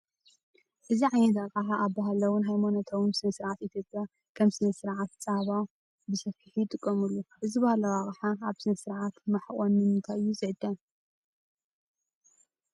እዚ ዓይነት ኣቕሓ ኣብ ባህላውን ሃይማኖታውን ስነ-ስርዓት ኢትዮጵያ (ከም ስነ-ስርዓት ጸባ) ብሰፊሑ ይጥቀሙሉ። እዚ ባህላዊ ኣቕሓ ኣብ ስነ-ስርዓት ማሕቖን ንምንታይ እዩ ዝዕጠን?